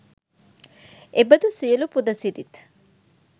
එබඳු සියලු පුද සිරිත්